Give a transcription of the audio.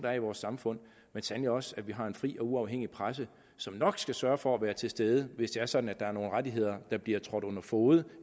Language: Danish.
er i vores samfund men sandelig også af at vi har en fri og uafhængig presse som nok skal sørge for at være til stede hvis det er sådan at der er nogle rettigheder der bliver trådt under fode